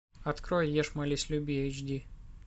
открой ешь молись люби эйч ди